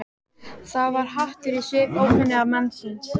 Það var hatur í svip ókunnuga mannsins.